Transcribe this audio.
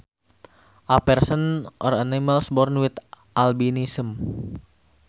A person or animal born with albinism